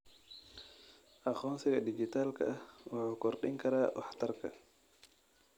Aqoonsiga dhijitaalka ah wuxuu kordhin karaa waxtarka.